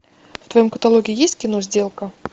в твоем каталоге есть кино сделка